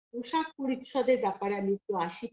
পোশাক পরিচ্ছদের ব্যাপারে আমি একটু আসি